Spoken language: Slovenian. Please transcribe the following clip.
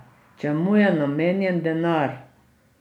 Čemu je namenjen denar?